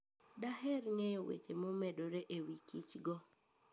Daher ng'eyo weche momedore e wi kichgo.